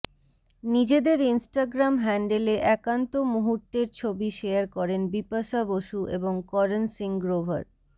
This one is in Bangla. নিজেদের ইনস্টাগ্রাম হ্যান্ডেলে একান্ত মুহূর্তের ছবি শেয়ার করেন বিপাশা বসু এবং করণ সিং গ্রোভার